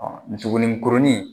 nin tuguni kurunin